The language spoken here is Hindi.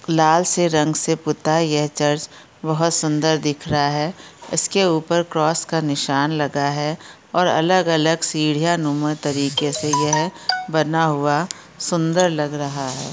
लाल से रंग से पुता ये चर्च बहुत सुंदर दिख रहा हैं उसके ऊपर क्रॉस का निशान लगा हैं और अलग-अलग सीढ़िया नुमा तरीके से यह बना हुआ सुंदर लग रहा हैं।